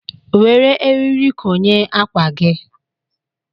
Were eriri konye ákwà gị.